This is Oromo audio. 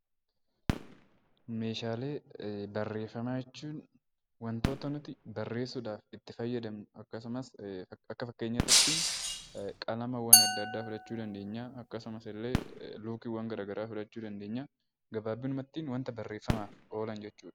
Meeshaalee Barreeffamaa jechuun wantoota nuti barreessuu dhaaf itti fayyadamnu akkasumas akka fakkeenyaatitti qalamaawwan adda addaa fudhachuu dandeenyaa, akkasumas illee luukiiwwan gara garaa fudhachuu dandeenyaa, gabaabinummatti wanta barreeffamaaf oolan jechuu dha.